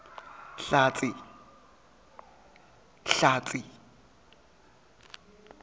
hlatsi